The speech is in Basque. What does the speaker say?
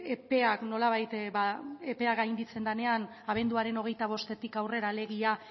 epeak gainditzen denean abenduaren hogeita bostetik aurrera alegia